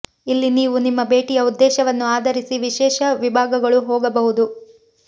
ಇಲ್ಲಿ ನೀವು ನಿಮ್ಮ ಭೇಟಿಯ ಉದ್ದೇಶವನ್ನು ಆಧರಿಸಿ ವಿಶೇಷ ವಿಭಾಗಗಳು ಹೋಗಬಹುದು